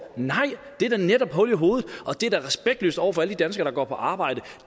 nej det er da netop hul i hovedet og det er da respektløst over for alle de danskere der går på arbejde